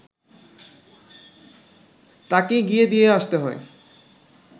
তাকেই গিয়ে দিয়ে আসতে হয়